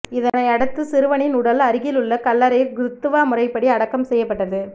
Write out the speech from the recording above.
இதனையடுத்து சிறுவனின் உடல் அருகில் உள்ள கல்லறையில் கிறிஸ்துவ முறைப்படி அடக்கம் செய்யப்பட்டது